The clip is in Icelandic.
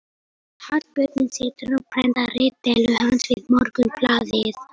Hallbjörn setur og prentar ritdeilu hans við Morgunblaðið